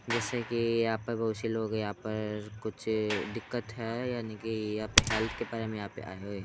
जैसे की यहाँ पे बहुत से लोग हैं यहाँ पर कुछ दिक्कत है यानि की यहाँ के हेल्थ के परे में यहाँ पे आये हुए हैं।